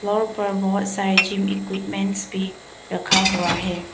Floor पर बहुत सारे ज़िम एक्वीपमेंट भी रखा हुआ है।